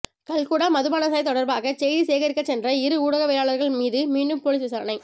கல்குடா மதுபானசாலை தொடர்பாக செய்தி சேகரிக்கச் சென்ற இரு ஊடகவியலாளர்கள் மீது மீண்டும் பொலிஸ் விசாரணை